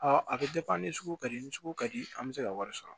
a bɛ ni sugu ka di ni sugu ka di an bɛ se ka wari sɔrɔ